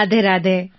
Radhe Radhe